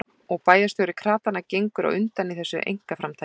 Og bæjarstjóri kratanna gengur á undan í þessu einkaframtaki.